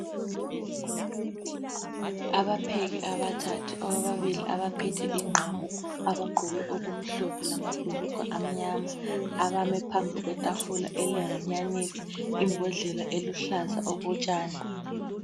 Abapheki abathathu, ababili abaphethe ingqamu abagqoke okumhlophe lamabhulugwe amnyama. Abame phambi kwetafula elehanyanisi. Imbodlela eluhlaza okotshani.